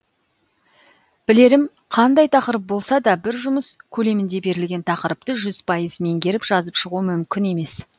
білерім қандай тақырып болса да бір жұмыс көлемінде берілген тақырыпты жүз пайыз меңгеріп жазып шығу мүмкін емес